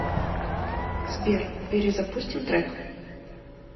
сбер перезапустим трек